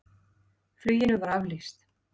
Fluginu var aflýst.